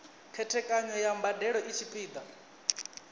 khethekanyo ya mbadelo i tshipiḓa